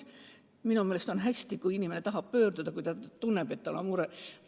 Minu meelest on hästi, kui inimene saab abi küsida, kui tal on mure.